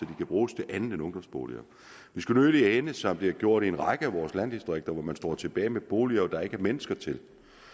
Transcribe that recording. kan bruges til andet end ungdomsboliger det skulle nødig ende som det har gjort i en række af vores landdistrikter hvor man står tilbage med boliger der ikke er mennesker til